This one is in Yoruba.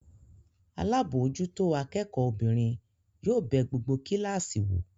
Alábòójútó akẹ́kọ̀ọ́ obìnrin yóò bẹ gbogbo kíláàsì wò.